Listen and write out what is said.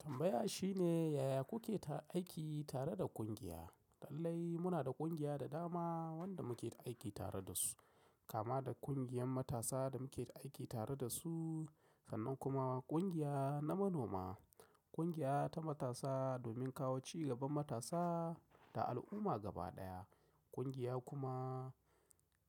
Tambaya shine yaya kuke ta aiki tare da ƙungiya? Lallai muna da ƙungiya da dama wanda muke ta aiki tare da su, kama da ƙungiyar matasa da muke ta aiki tare da su sannan kuma ƙungiya na manoma. Ƙungiya ta matasa domin kawo ci gaban matasa da al'umma gaba ɗaya. Ƙungiya kuma